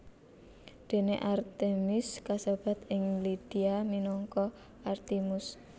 Dene Artemis kasebat ing Lydia minangka Artimus